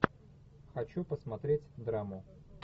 хочу посмотреть драму